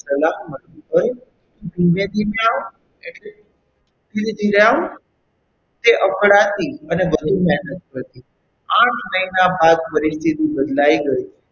સલાહ મળતી હોય તો ધીમે ધીમે આવે એટલે ધીરે ધીરે આવ કે અકળાતી અને વધુ મહેનત થતી. આઠ મહિના બાદ પરિસ્થિતિ બદલાઈ ગઈ.